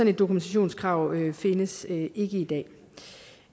et dokumentationskrav findes ikke i dag